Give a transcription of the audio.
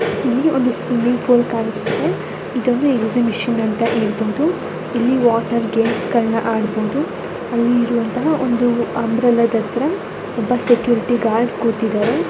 ಇಲ್ಲಿ ಒಂದು swimming pool ಕಾಣಿಸ್ತಿದೆ ಇದೊಂದು ಎಕ್ಸಿಬಿಷನ್ ಅಂತ ಹೇಳ್ಬಹುದು ಇಲ್ಲಿ ವಾಟರ್ ಗೇಮ್ಸ್ ಗಳ್ಳನ ಅಡಬಹುದು ಆಲ್ಲಿ ಇರುವಂಥ ಒಂದು ಅಂಬ್ರೆಲಾ ದತ್ರ ಒಬ್ಬ ಸೆಕ್ಯೂರಿಟಿ ಗಾರ್ಡ್ ಕೂತಿದಾರೆ.